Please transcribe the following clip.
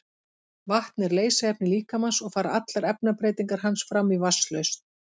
Vatn er leysiefni líkamans og fara allar efnabreytingar hans fram í vatnslausn.